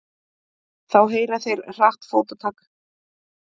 Þá heyra þeir hratt fótatak.